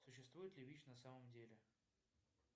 существует ли вич на самом деле